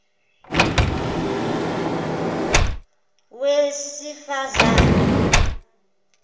wesifazane